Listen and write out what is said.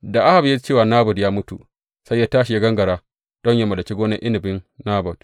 Da Ahab ya ji cewa Nabot ya mutu, sai ya tashi ya gangara don yă mallaki gonar inabin Nabot.